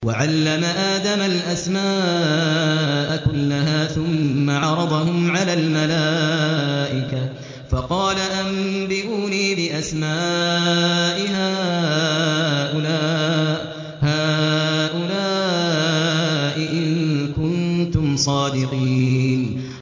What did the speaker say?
وَعَلَّمَ آدَمَ الْأَسْمَاءَ كُلَّهَا ثُمَّ عَرَضَهُمْ عَلَى الْمَلَائِكَةِ فَقَالَ أَنبِئُونِي بِأَسْمَاءِ هَٰؤُلَاءِ إِن كُنتُمْ صَادِقِينَ